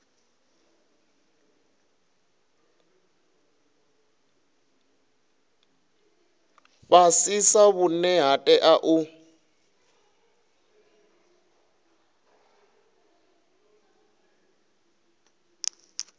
fhasisa vhune ha tea u